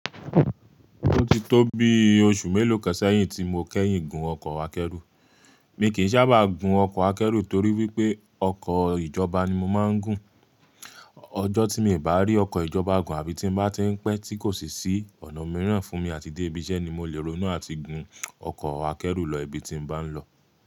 Ó ti tó bi oṣù mélòó kan sẹ́yìn tí mo kẹ́yìn gùn ọkọ̀ akẹ́rù. Mi kì í sábà gùn ọkọ̀ akẹ́rù torí wípé ọkọ̀ ìjọba ni mo máa ń gùn. Ọjọ́ tí ì bá rí ọkọ̀ ìjọba gùn àbí tí bá tí ń pẹ́ tí kò sì sí ọ̀nà mìíràn fún mi àti dé ibi iṣẹ́ ni mo lè ronú àti gùn ọkọ̀ akẹ́rù lọ ibi tí bá ń lọ.